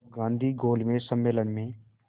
तब गांधी गोलमेज सम्मेलन में